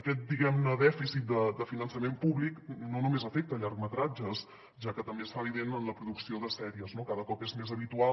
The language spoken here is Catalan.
aquest diguem ne dèficit de finançament públic no només afecta llargmetratges ja que també es fa evident en la producció de sèries no cada cop és més habitual